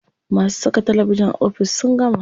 Masu saka talabijin a ofis sun gama.